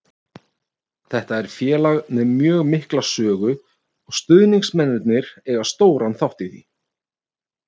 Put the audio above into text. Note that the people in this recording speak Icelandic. Þetta er félag með mjög mikla sögu og stuðningsmennirnir eiga stóran þátt í því.